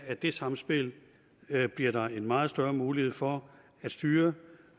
at det samspil bliver der en meget større mulighed for at styre